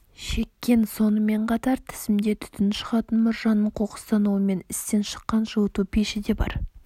шеккен сонымен қатар тізімде түтін шығатын мұржаның қоқыстануы мен істен шыққан жылыту пеші де бар